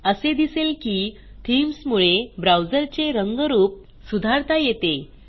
असे दिसेल की थीम्स मुळे ब्राऊजरचे रंगरूप सुधारता येते